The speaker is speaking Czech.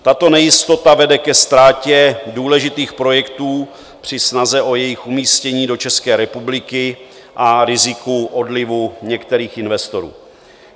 Tato nejistota vede ke ztrátě důležitých projektů při snaze o jejich umístění do České republiky a riziku odlivu některých investorů.